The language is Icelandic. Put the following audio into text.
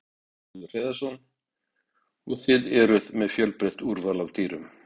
Magnús Hlynur Hreiðarsson: Og þið eruð með fjölbreytt úrval af dýrum?